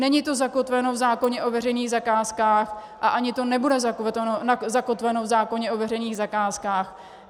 Není to zakotveno v zákoně o veřejných zakázkách a ani to nebude zakotveno v zákoně o veřejných zakázkách.